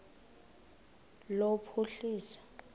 lophuhliso